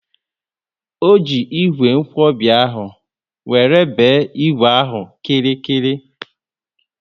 O ji ígwè nkwobi ahụ wéré be ígwè ahụ nkirikiri